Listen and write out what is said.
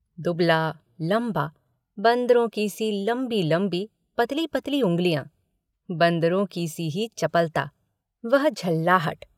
दुबला लंबा बन्दरों की सी लम्बी लम्बी पतली पतली उंगलियाँ बन्दरों ही कीसी चपलता वह झल्लाहट।